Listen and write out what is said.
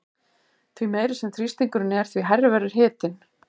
Því meiri sem þrýstingurinn er því hærri verður hitinn.